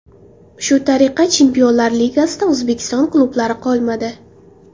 Shu tariqa Chempionlar ligasida O‘zbekiston klublari qolmadi.